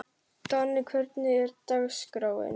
Donni, hvernig er dagskráin?